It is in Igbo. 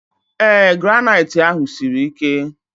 Ee, granaitị ahụ siri ike